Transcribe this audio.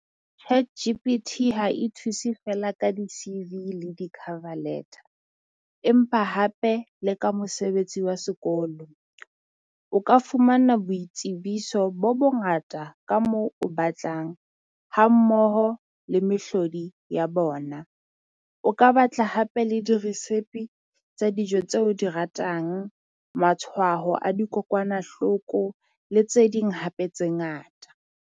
ChatGPT ha e thuse feela ka di-C_V le di-cover letter. Empa hape le ka mosebetsi wa sekolo, o ka fumana boitsebiso bo bongata ka moo o batlang hammoho le mehlodi ya bona. O ka batla hape le dirisepe tsa dijo tse o di ratang matshwaho a dikokwanahloko le tse ding hape tse ngata.